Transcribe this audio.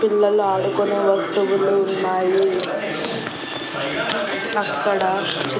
పిల్లలు ఆడుకునే వస్తువులు ఉన్నాయి అక్కడ చి--